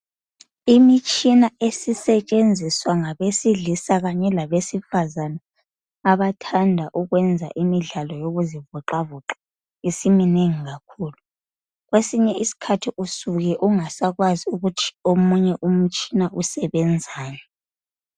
Imitshina esisetshenziswa ngabesilisa kanye labesifazana abathanda ukwenza imidlalo wokuzivoxavoxa isiminengi kakhulu. Kwesinye isikhathi usuke ungasakwazi ukuthi omunye umitshina usebenzani.